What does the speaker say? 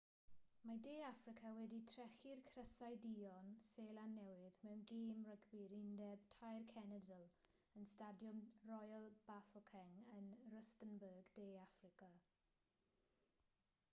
mae de affrica wedi trechu'r crysau duon seland newydd mewn gêm rygbi'r undeb tair cenedl yn stadiwm royal bafokeng yn rustenburg de affrica